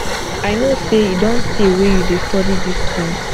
i know say e don tey wey you dey study dis thing